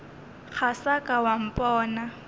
ga sa ka wa mpona